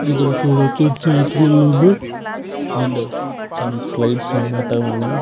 ఇక్కడ చూడచ్చు జైన్ట్వీల్ ఉంది. And some slides అనమాటవున్నాయ్.